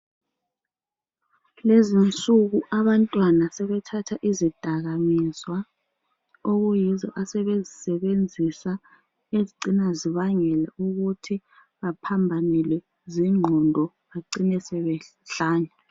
Lezi insuku abantwana sebethatha izidakamizwa okuyizo asebezisebenzisa ezicina zibangela ukuthi baphambanelwe zingqondo bacine sebehlanya.